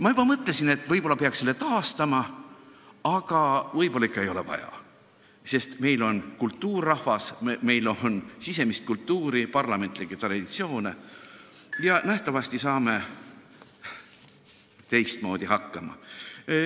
Ma juba mõtlesin, et võib-olla peaks selle taastama, aga võib-olla ikka ei ole vaja, sest meil on kultuurrahvas, meil on sisemist kultuuri, parlamentlikke traditsioone, ja nähtavasti saame teistmoodi hakkama.